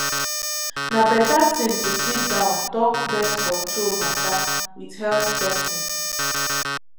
na better thing to sit down talk birth control matter with health person.